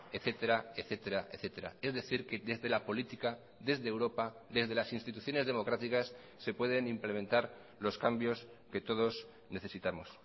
etcétera etcétera etcétera es decir que desde la política desde europa desde las instituciones democráticas se pueden implementar los cambios que todos necesitamos